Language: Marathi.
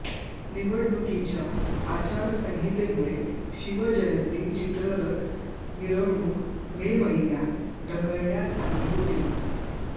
निवडणुकीच्या आचारसंहितेमुळे शिवजयंती चित्ररथ मिरवणूक मे महिन्यात ढकलण्यात आली होती